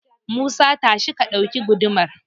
Musa, tashi ka ɗauki gudumar.